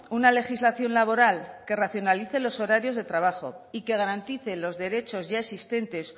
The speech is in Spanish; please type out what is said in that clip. una legislación laboral que racionalice los horarios de trabajo y que garantice los derechos ya existentes